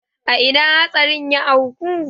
A ina hatsarin ya auku?